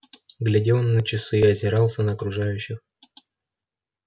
глядел на часы озирался на окружающих